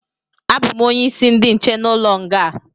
Abụ m onye isi ndi nche n'ụlọ nga a